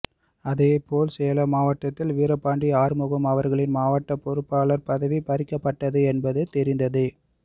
அதேபோல் சேலம் மாவட்டத்தில் வீரபாண்டி ஆறுமுகம் அவர்களின் மாவட்ட பொறுப்பாளர் பதவி பறிக்கப்பட்டு என்பதும் தெரிந்ததே